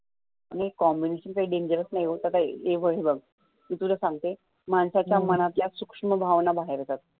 combination काही dangerous नाही होत मी तुला सांगते माणसाच्या मनातल्या सूक्ष्म भावना बाहेर येतात.